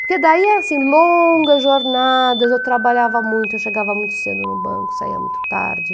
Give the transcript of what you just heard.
Porque daí, assim, longas jornadas, eu trabalhava muito, eu chegava muito cedo no banco, saía muito tarde.